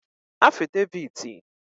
afideviti